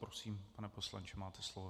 Prosím, pane poslanče, máte slovo.